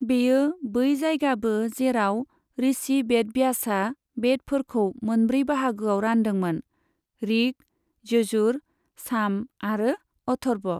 बेयो बै जायगाबो जेराव ऋषि बेदव्यासआ बेदफोरखौ मोनब्रै बाहागोआव रानदोंमोन ऋक्, यजुर, साम आरो अथर्व।